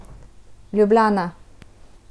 Ljubljana.